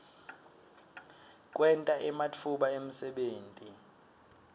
kwenta ematfuba emsebenti